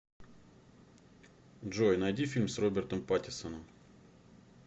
джой найди фильм с робертом паттиссоном